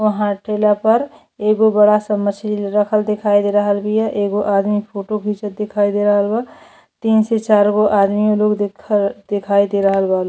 वहाँ ठेला पर एगो बड़ा सा मछली रखल देखाई दे रहल बिया। एगो आदमी फोटो घींचत दिखाई दे रहल बा। तीन से चार गो आदमी लोग देख देखाई दे रहल बा लो --